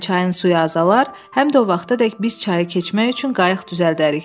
Həm çayın suyu azalar, həm də o vaxtadək biz çayı keçmək üçün qayıq düzəldərik.